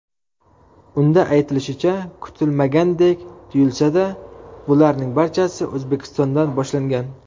Unda aytilishicha, kutilmagandek tuyulsa-da, bularning barchasi O‘zbekistondan boshlangan.